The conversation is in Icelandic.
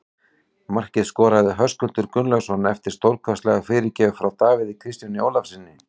Markið skoraði Höskuldur Gunnlaugsson eftir stórkostlega fyrirgjöf frá Davíð Kristjáni Ólafssyni.